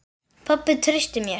Pabbi treysti mér.